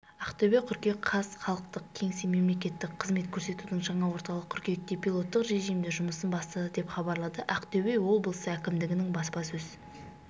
ақтөбе қыркүйек қаз халықтық кеңсе мемлекеттік қызмет көрсетудің жаңа орталығы қыркүйекте пилоттық режимде жұмысын бастады деп хабарлады ақтөбе облысы әкімдігінің баспасөз